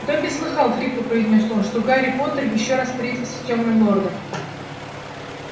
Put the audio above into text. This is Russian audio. добби слыхал хрипло произнёс он что гарри поттер ещё раз встретился с тёмным лордом